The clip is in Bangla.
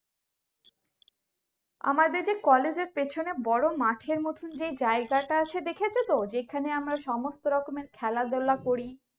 আমাদের যে College এর পেছনে বড়ো মাঠের মতো যে জায়গাটা আছে দেখেছতো যেখানে সমস্ত রকমের খেলাধোলা করি